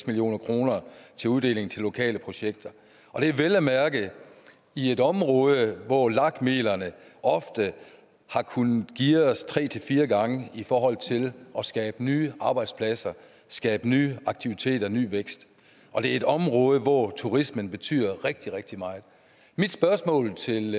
million kroner til uddeling til lokale projekter og det er vel at mærke i et område hvor lag midlerne ofte har kunnet geares tre fire gange i forhold til at skabe nye arbejdspladser skabe nye aktiviteter ny vækst og det er et område hvor turismen betyder rigtig rigtig meget mit spørgsmål til